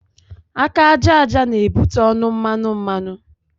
Aka àjàja na ebute ọnụ mmanụ mmanụ